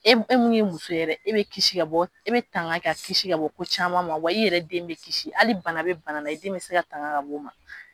E e mun ye muso yɛrɛ ye e bɛ kisi ka bɔ e bɛ tanka ka kisi ka bɔ ko caman ma wa i yɛrɛ den bɛ kisi hali bana bɛ bana la i den bɛ se ka tanga ka bɔ ma.